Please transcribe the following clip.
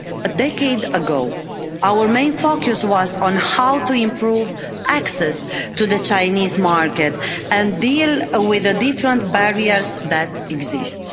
A decade ago, our main focus was on how to improve access to the Chinese market and deal with the different barriers that exist.